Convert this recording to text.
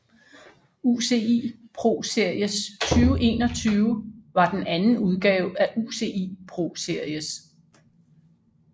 UCI ProSeries 2021 var den anden udgave af UCI ProSeries